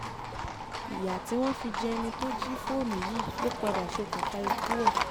ìyà tí wọ́n fi jẹ ẹni tó jí jí fóònù yìí ló padà ṣokùnfà ikú ẹ̀